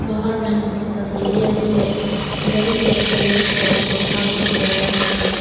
बाहर में लंबा सा सीढ़ियां भी हैं बड़े बड़े पेड़ और पौधा भी उगाया हुआ है।